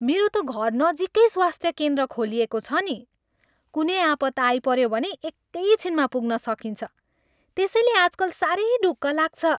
मेरो त घरनजिकै स्वास्थ्य केन्द्र खोलिएको छ नि। कुनै आपत् आइपऱ्यो भने एकै छिनमा पुग्न सकिन्छ। त्यसैले आजकल साह्रै ढुक्क लाग्छ।